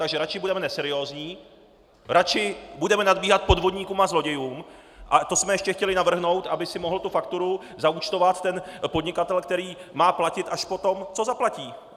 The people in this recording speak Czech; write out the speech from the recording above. Takže radši budeme neseriózní, radši budeme nadbíhat podvodníkům a zlodějům, a to jsme ještě chtěli navrhnout, aby si mohl tu fakturu zaúčtovat ten podnikatel, který má platit až potom, co zaplatí.